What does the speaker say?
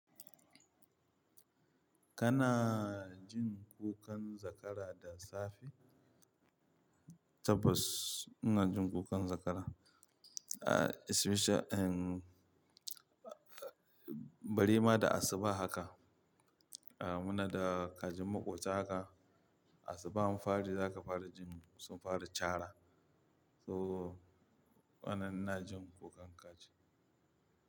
Kana jin kukan zakara da safe? Tabbas ina jin kukan zakara, especially in bari ma da asuba haka. Muna da kajin maƙwabta haka, asuba an fari zaka fara jin sun fara cara. To wannan ina jin kukan kaji.